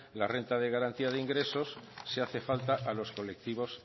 la renta de garantía de ingresos si hace falta a los colectivos